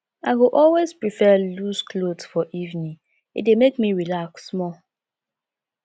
i go always prefer loose clothes for evening e dey make me relax small